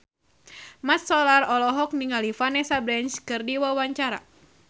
Mat Solar olohok ningali Vanessa Branch keur diwawancara